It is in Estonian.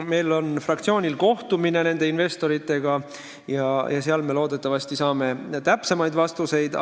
Meie fraktsioonil on ees kohtumine nende investoritega, seal me loodetavasti saame täpsemaid vastuseid.